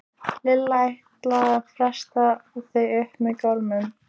Lilla ætlaði að festa þau upp með gormum.